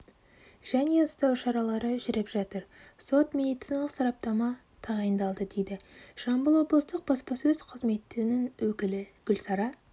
және ұстау шаралары жүріп жатыр сот-медициналық сараптама тағайындалды дейді жамбыл облыстық баспасөз қызметінің өкілі гүлсара